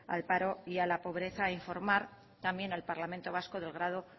al paro y a la pobreza e informar también al parlamento vasco del grado